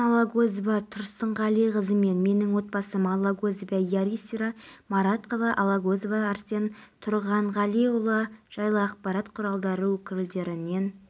ал қала бойынша ұлттық бірыңғай тестілеуге қатысатын оқушылардың барлығы болса бүгінге дейін оның тест тапсырды орта балл көрсеткіші жетті әзірге оқушы